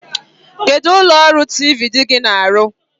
Kedụ ụlọọrụ tiivii di gị na-arụ?